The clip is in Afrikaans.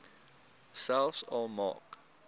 selfs al maak